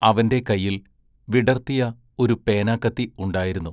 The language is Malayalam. അവന്റെ കൈയിൽ വിടർത്തിയ ഒരു പേനാക്കത്തി ഉണ്ടായിരുന്നു.